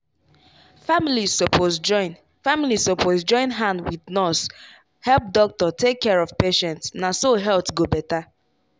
families suppose join families suppose join hand wit nurse help doctor take care of patient na so health go better.